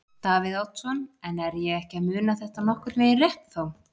Davíð Oddsson: En er ég ekki að muna þetta nokkurn veginn rétt þá?